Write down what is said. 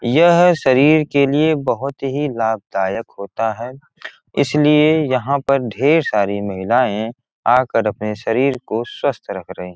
यह शरीर के लिए बहुत ही लाभदायक होता है इसलिए यहाँ पर ढेर सारी महिलाएं आकर अपने शरीर को स्वस्थ रख रही है।